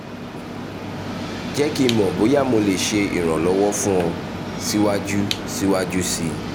jẹ ki n mọ boya mo le ṣe iranlọwọ fun ọ siwaju siwaju sii